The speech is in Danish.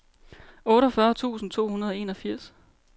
otteogfyrre tusind to hundrede og enogfirs